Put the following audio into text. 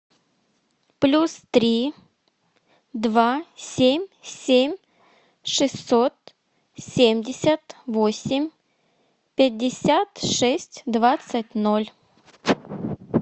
плюс три два семь семь шестьсот семьдесят восемь пятьдесят шесть двадцать ноль